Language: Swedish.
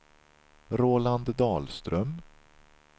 Roland Dahlström